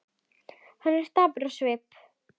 Hann er dapur á svip.